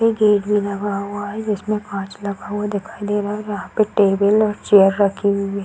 पे गेट भी लगा हुआ है जिसमें काँच लगा हुआ दिखाई दे रहा है यहाँ पे टेबल और चेयर रखी हुई है।